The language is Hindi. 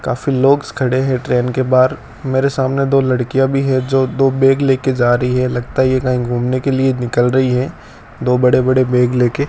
काफी लोग खड़े हैं ट्रेन के बाहर मेरे सामने दो लड़कियां भी है जो दो बैग लेके जा रही है लगता है ये कहीं घूमने के लिए निकल रही है दो बड़े बड़े बैग लेके --